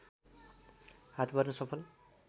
हात पार्न सफल